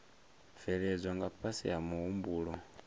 bveledzwa nga fhasi ha muhumbulo